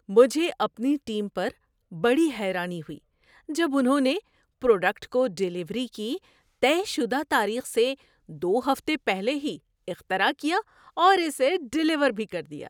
مجھے اپنی ٹیم پر بڑی حیرانی ہوئی جب انہوں نے پروڈکٹ کو ڈلیوری کی طے شدہ تاریخ سے دو ہفتے پہلے ہی اختراع کیا اور اسے ڈلیور بھی کر دیا۔